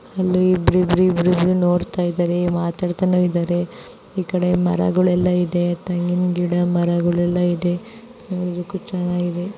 ಅಲ್ಲಿ ಇಬ್ಬಇಬ್ರೂ ನೋಡ್ತಾ ಇದ್ದಾರೆ ಮಾತಾಡ್ತಾ ಇದ್ದಾರೆ ಈ ಕಡೆ ಮರಗಳೆಲ್ಲ ಇದವೆ ತೆಂಗಿನ ಮರ ಗಿಡ ಎಲ್ಲ ಇದೇ ಇದಾವೆ ನೋಡೋಕೂ ಚೆನ್ನಾಗಿದೆ.